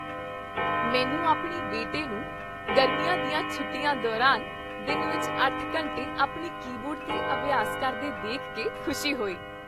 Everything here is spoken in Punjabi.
ਮੈਨੂੰ ਆਪਣੇ ਬੇਟੇ ਨੂੰ ਗਰਮੀਆਂ ਦੀਆਂ ਛੁੱਟੀਆਂ ਦੌਰਾਨ ਦਿਨ ਵਿੱਚ ਅੱਠ ਘੰਟੇ ਆਪਣੇ ਕੀਬੋਰਡ 'ਤੇ ਅਭਿਆਸ ਕਰਦੇ ਦੇਖ ਕੇ ਖੁਸ਼ੀ ਹੋਈ।